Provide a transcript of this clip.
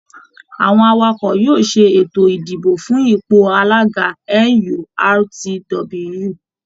Àwọn Awakọ̀ yóò ṣe ètò idibo fún ipò alága NURTW